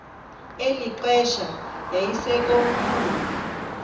eli xesha yayisekomkhulu